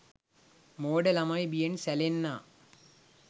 මෝඩ ළමයි බියෙන් සැලෙන්නා